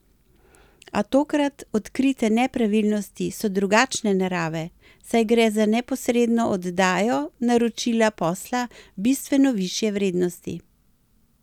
A tokrat odkrite nepravilnosti so drugačne narave, saj gre za neposredno oddajo naročila posla bistveno višje vrednosti.